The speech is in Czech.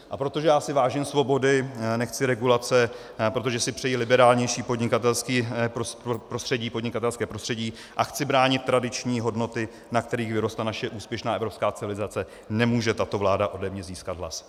A protože já si vážím svobody, nechci regulace, protože si přeji liberálnější podnikatelské prostředí a chci bránit tradiční hodnoty, na kterých vyrostla naše úspěšná evropská civilizace, nemůže tato vláda ode mě získat hlas.